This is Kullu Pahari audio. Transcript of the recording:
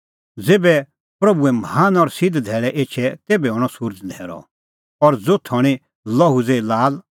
ज़ेभै प्रभूए महान और सिध्द धैल़ै एछे तेभै हणअ सुरज़ न्हैरअ और ज़ोथ हणीं लोहू ज़ेही लाल